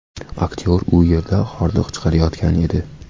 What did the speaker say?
Aktyor u yerda hordiq chiqarayotgan edi.